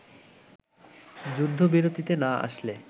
যুদ্ধবিরতিতে না আসলে